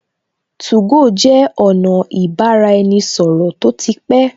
2go jẹ́ ọ̀nà ibaraenisoro tó ti pé